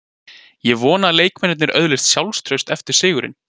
Ég vona að leikmennirnir öðlist sjálfstraust eftir sigurinn.